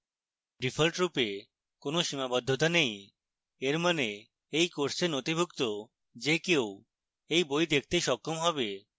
ডিফল্টরূপে কোনো সীমাবদ্ধতা নেই এর means by course নথিভুক্ত যে কেউ by by দেখতে সক্ষম হবে